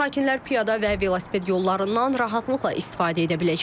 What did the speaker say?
Sakinlər piyada və velosiped yollarından rahatlıqla istifadə edə biləcəklər.